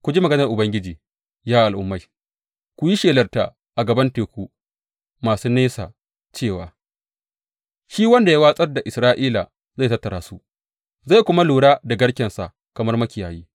Ku ji maganar Ubangiji, ya al’ummai; ku yi shelarta a gaban teku masu nesa cewa, Shi wanda ya watsar da Isra’ila zai tattara su zai kuma lura da garkensa kamar makiyayi.’